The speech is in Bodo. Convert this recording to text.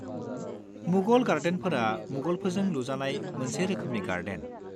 -मुगल गार्डेनफोरा मुगलफोरजों लुजानाय मोनसे रोखोमनि गार्डेन।